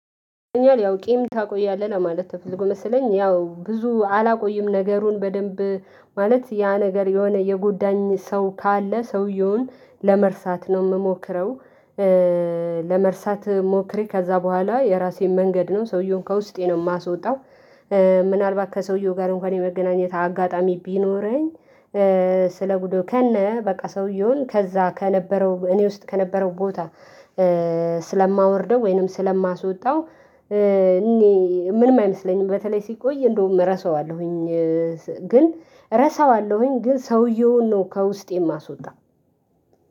ያው ቂም ታቆያለህ ለማለት ተፈልጎ መሰለኝ ያው ብዙ አላቆይም ነገሩን በደንብ ማለት ያ ነገር የሆነ የጎዳኝ ሰው ካለ ሰውየውን ለመርሳት ነው የምሞክረው። ለመርሳት ሞክሬ ከዚያ በኋላ የራሴን መንገድ ነው ሰውዬውን ከውስጤ ነው የማስወጣው። ምናልባት ከሰውዬው ጋር እንኳን የመገናኘት አጋጣሚ ቢኖረኝ። ስለጉዶዩ ከነ በቃ ሰውዬውን ከዚያ ከነበረው እኔ ውስጥ ከነበረው ቦታ ስለማወርደው ወይንም ስለማስወጣው። እኔ ምንም አይመስለኝም በተለይ ሲቆይ እንደውም ረሳዋለሁኝ። ግን ረሳዋለሁኝ ግን ሰውዬውን ነው ከውስጤ የማስወጣው